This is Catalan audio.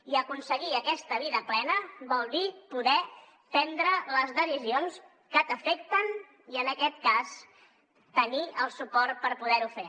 i aconseguir aquesta vida plena vol dir poder prendre les decisions que t’afecten i en aquest cas tenir el suport per poder ho fer